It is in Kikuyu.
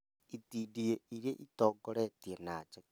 itindiĩ iria ĩtongoretie na njeke